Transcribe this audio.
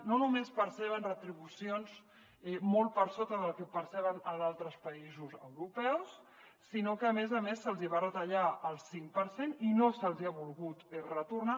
no només perceben retribucions molt per sota del que perceben a altres països europeus sinó que a més a més se’ls hi va retallar el cinc per cent i no se’ls hi ha volgut retornar